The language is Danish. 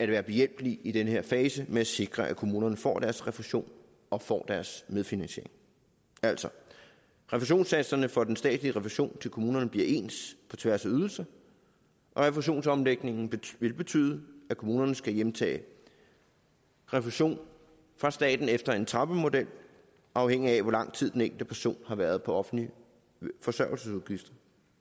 være behjælpelig i den her fase med at sikre at kommunerne får deres refusion og får deres medfinansiering altså refusionssatserne for den statslige refusion til kommunerne bliver ens på tværs af ydelser og refusionsomlægningen vil betyde at kommunerne skal hjemtage refusion fra staten efter en trappemodel afhængig af hvor lang tid den enkelte person har været på offentlige forsørgelsesudgifter